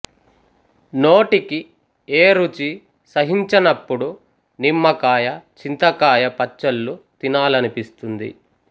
నోటికి ఏ రుచీ సహించనప్పుడూ నిమ్మకాయ చింతకాయ పచ్చళ్లు తినాలనిపిస్తుంది